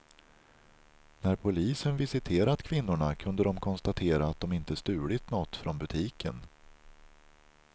När polisen visiterat kvinnorna kunde de konstatera att de inte stulit något från butiken.